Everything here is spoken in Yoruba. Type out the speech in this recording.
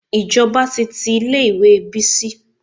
Ìjọba ti tí ilé ìwé Bísí.